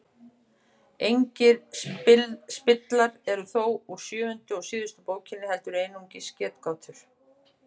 Engir spillar eru þó úr sjöundu og síðustu bókinni heldur einungis getgátur.